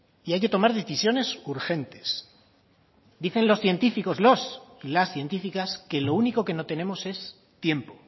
y hay que tomar decisiones urgentes dicen los científicos los y las científicas que lo único que no tenemos es tiempo